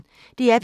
DR P1